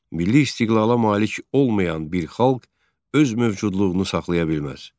Milli istiqlala malik olmayan bir xalq öz mövcudluğunu saxlaya bilməz.